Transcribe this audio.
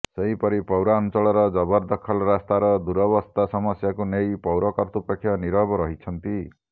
ସେହିପରି ପୌରାଞ୍ଚଳର ଜବରଦଖଲ ରାସ୍ତାର ଦୂରାବସ୍ତା ସମସ୍ୟାକୁ ନେଇ ପୌର କର୍ତ୍ତୃପକ୍ଷ ନୀରବ ରହିଛନ୍ତି